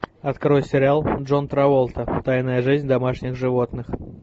открой сериал джон траволта тайная жизнь домашних животных